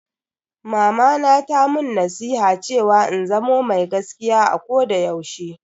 Mamana ta mun nasiha cewa in zamo mai gaskiya a koda yaushe.